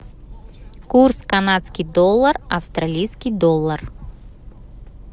курс канадский доллар австралийский доллар